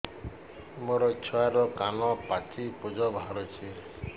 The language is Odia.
ମୋ ଛୁଆର କାନ ପାଚି ପୁଜ ବାହାରୁଛି